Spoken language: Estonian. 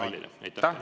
Aitäh!